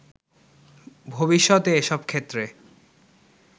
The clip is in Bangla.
ভবিষ্যতে এসব ক্ষেত্রে